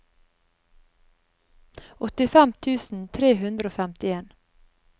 åttifem tusen tre hundre og femtien